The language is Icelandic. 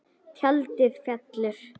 Tjaldið fellur.